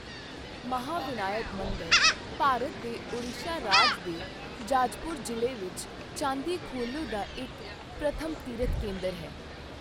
ਮਹਾਵਿਨਾਇਕ ਮੰਦਰ ਭਾਰਤ ਦੇ ਓਡੀਸ਼ਾ ਰਾਜ ਦੇ ਜਾਜਪੁਰ ਜ਼ਿਲ੍ਹੇ ਵਿੱਚ ਚਾਂਦੀਖੋਲੇ ਦਾ ਇੱਕ ਪ੍ਰਮੁੱਖ ਤੀਰਥ ਕੇਂਦਰ ਹੈ।